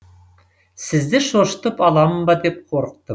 сізді шошытып аламын ба деп қорықты